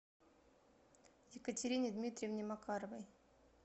екатерине дмитриевне макаровой